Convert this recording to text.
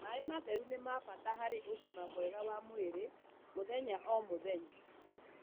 Maĩ matheru ni ma bata harĩ ugima mwega wa mwĩri muthenya o muthenya.